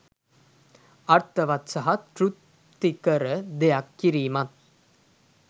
අර්ථවත් සහ තෘප්තිකර දෙයක් කිරීමත්